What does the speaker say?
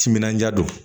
Timinandiya don